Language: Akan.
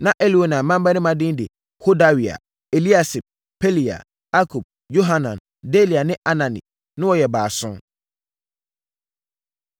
Na Elioenai mmammarima din de Hodawia, Eliasib, Pelaia, Akub, Yohanan, Delaia ne Anani. Na wɔyɛ baason.